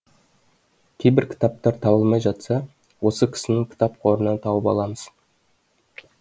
кейбір кітаптар табылмай жатса осы кісінің кітап қорынан тауып аламыз